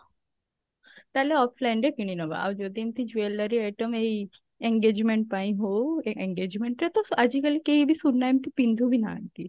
ତାହେଲେ offline ରେ କିଣିନବ ଆଉ ଯଦି ଏମତି jewellery item ଏଇ engagement ପାଇଁ ହଉ engagement ରେ ତ ଆଜିକାଲି କେହି ବି ଏମତି ସୁନା ଏମତି ପିନ୍ଧୁ ବି ନାହାନ୍ତି